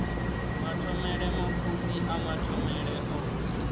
mathomele mapfufhi a mathomele o